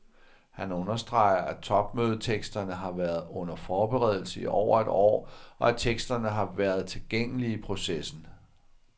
Han understreger, at topmødeteksterne har været under forberedelse i over et år, og at teksterne har været tilgængelige i processen.